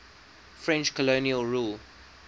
french colonial rule